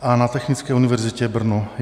a na Technické univerzitě Brno.